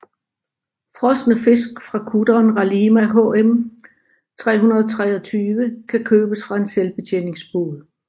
Frosne fisk fra kutteren Ralima HM 323 kan købes fra en selvbetjeningsbod